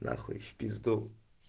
на хуй в пизду